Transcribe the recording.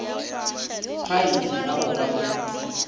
phaephe ya go ba le